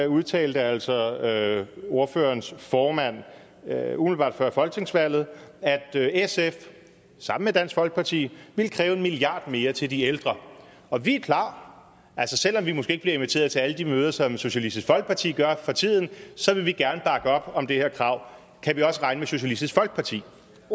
udtalte altså ordførerens formand umiddelbart før folketingsvalget at sf sammen med dansk folkeparti ville kræve en milliard mere til de ældre og vi er klar altså selv om vi måske ikke bliver inviteret til alle de møder som socialistisk folkeparti gør for tiden så vil vi gerne bakke op om det her krav kan vi også regne med socialistisk folkeparti